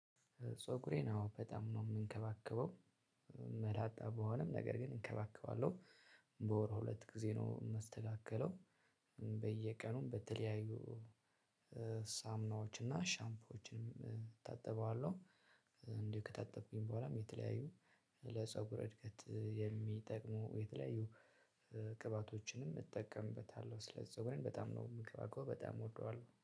ፀጉሬን አዎ በጣም ነው የምንከባከበው መላጣ በሆነም ነገር ግን እንከባከባለሁ። በወር ሁለት ጊዜ ነው የምስተካከለው። በየቀኑም በተለያዩ ሳምናዎች እና ሻምፖዎችንም እታጠበዋለሁ። እንዲሁ ከታጠብኩኝ በኋላም የተለያዩ ለፀጉር እድገት የሚጠቅሙ የተለያዩ ቅባቶችንም እጠቀምበታለሁ። ስለዚህ ፀጉሬን በጣም ነው የምከባከበው በጣም እወደዋለሁ